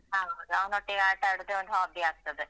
ಹೌದು ಅವನೊಟ್ಟಿಗೆ ಆಟ ಆಡುದೇ ಒಂದು hobby ಆಗ್ತದೆ.